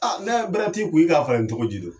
ni bɛrɛ t'i kun i k'a falen cogo ji do.